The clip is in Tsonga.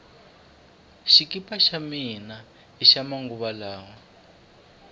xikipa xa mina hixa manguva lawa